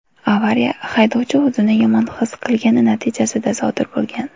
Avariya haydovchi o‘zini yomon his qilgani natijasida sodir bo‘lgan.